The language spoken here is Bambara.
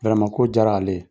ko jara ale ye.